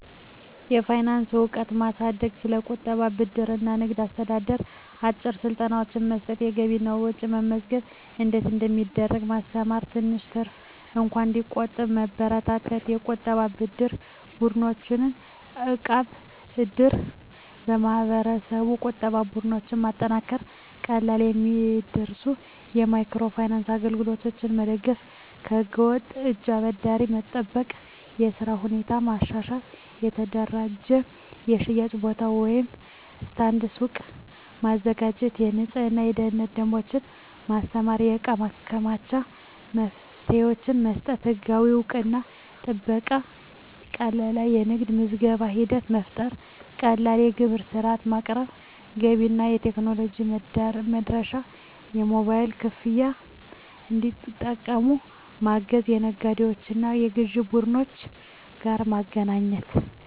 የፋይናንስ እውቀት ማሳደግ ስለ ቁጠባ፣ ብድር እና ንግድ አስተዳደር አጭር ስልጠናዎች መስጠት የገቢና ወጪ መመዝገብ እንዴት እንደሚደረግ ማስተማር ትንሽ ትርፍ እንኳን እንዲቆጠብ መበረታታት የቁጠባና የብድር ቡድኖች (እቃብ/እድር ) የማህበረሰብ ቁጠባ ቡድኖች ማጠናከር ቀላል የሚደርሱ የማይክሮ ፋይናንስ አገልግሎቶች መደገፍ ከህገ-ወጥ እጅ አበዳሪዎች መጠበቅ የሥራ ሁኔታ ማሻሻል የተደራጀ የሽያጭ ቦታ (ስታንድ/ሱቅ) ማዘጋጀት የንፅህናና የደህንነት ደንቦች ማስተማር የእቃ ማከማቻ መፍትሄዎች መስጠት ህጋዊ እውቅናና ጥበቃ ቀላል የንግድ ምዝገባ ሂደት መፍጠር ቀላል የግብር ሥርዓት ማቅረብ ገበያ እና ቴክኖሎጂ መድረሻ የሞባይል ክፍያ እንዲጠቀሙ ማገዝ ከነጋዴዎችና ከግዥ ቡድኖች ጋር ማገናኘት